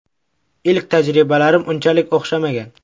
Ilk tajribalarim unchalik o‘xshamagan.